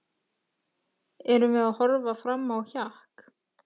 Erum við að horfa fram á hjakk?